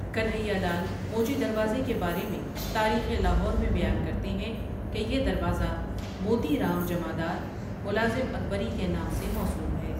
کنہیا لال موچی دروازے کے بارے میں ٴتاریخ لاہورٴ میں بیان کرتے ہیں کہ ٴٴیہ دورازہ موتی رام جمعدار ملازم اکبری کے نام سے موسوم ہے۔